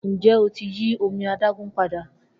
Njẹ o ti yi omi adagun pada?